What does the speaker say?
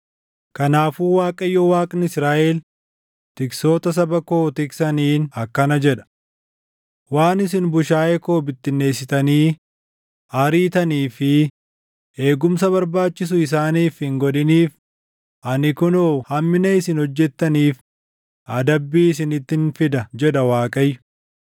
Kanaafuu Waaqayyo Waaqni Israaʼel tiksoota saba koo tiksaniin akkana jedha: “Waan isin bushaayee koo bittinneessitanii ariitanii fi eegumsa barbaachisu isaaniif hin godhiniif ani kunoo hammina isin hojjettaniif adabbii isinittin fida” jedha Waaqayyo.